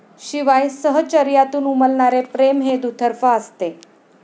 शिवाय सहचर्यातून उमलणारे प्रेम हे दुतर्फा असते.